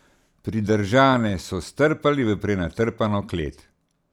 Pridržane so strpali v prenatrpano klet.